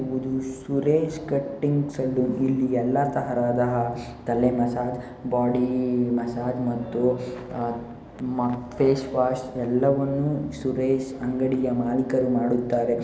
ಇವ್ರುದು Suresh cutting saloon ಇಲ್ಲಿ ಎಲ್ಲಾ ತರಹದ ತಲೆ ಮಸಾಜ್ ಬಾಡಿ ಮಸಾಜ್ ಮತ್ತು ಮ ಫೇಸ್ ವಾಶ್ ಎಲ್ಲವನ್ನು ಸುರೇಶ್ ಅಂಗಡಿಯ ಮಾಲೀಕರು ಮಾಡುತ್ತಾರೆ.